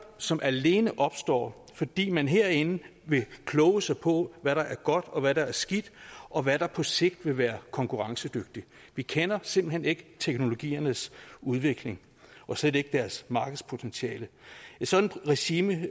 som alene opstår fordi man herinde vil kloge sig på hvad der er godt og hvad der er skidt og hvad der på sigt vil være konkurrencedygtigt vi kender simpelt hen ikke teknologiernes udvikling og slet ikke deres markedspotentiale et sådant regime